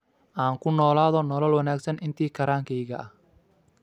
Aan ku noolaado nolol wanaagsan intii karaankeyga ah.